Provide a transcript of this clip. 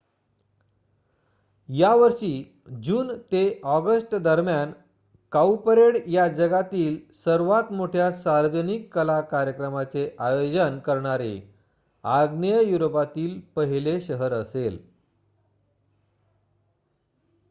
या वर्षी जून ते अॉगस्टदरम्यान काऊपरेड या जगातील सर्वात मोठ्या सार्वजनिक कला कार्यक्रमाचे आयोजन करणारे आग्नेय युरोपातील पहिले शहर असेल